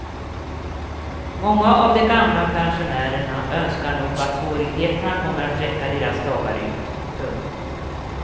Många av de gamla pensionärerna önskar nog att svårigheterna kommer att räcka deras dagar ut. punkt